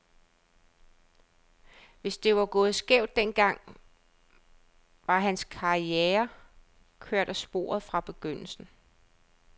Hvis det var gået skævt den gang, var hans karriere kørt af sporet fra begyndelsen.